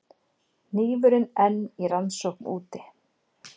Hnífurinn enn í rannsókn úti